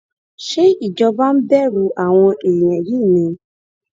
ṣé ìjọba ń bẹrù àwọn èèyàn yìí ni